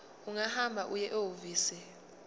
ungahamba uye ehhovisi